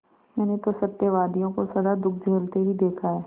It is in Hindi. मैंने तो सत्यवादियों को सदा दुःख झेलते ही देखा है